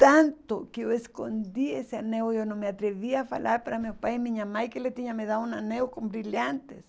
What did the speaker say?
Tanto que eu escondi esse anel, eu não me atrevia a falar para meu pai e minha mãe que ele tinha me dado um anel com brilhantes.